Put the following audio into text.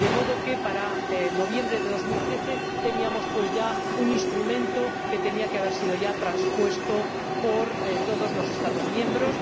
De modo que, para noviembre de 2013, disponíamos ya de un instrumento que tenía que haber sido transpuesto por todos los Estados miembros.